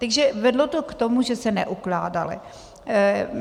Takže vedlo to k tomu, že se neukládaly.